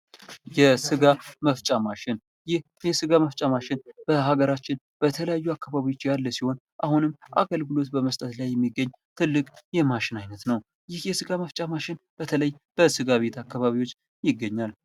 የስጋ መፍጫ ማሽን ይህ የስጋ መፍጫ ማሽን በሀገራችን በተለያዩ አካባቢዎች ያለ ሲሆን አሁንም አገልግሎት በመስጠት ላይ የሚገኝ ትልቅ የማሽን አይነት ነው። ይህ የስጋ መፍጫ ማሽን በተለይ በስጋ ቤት አካባቢዎች ይገኛል ።